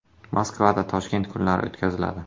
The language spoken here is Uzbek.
Moskvada “Toshkent kunlari” o‘tkaziladi.